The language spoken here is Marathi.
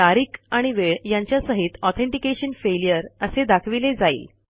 तारीख आणि वेळ यांच्या सहितAuthentication फेल्युअर असे दाखविले जाईल